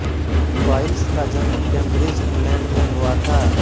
वाइल्स का जन्म Cambridge England में हुआ था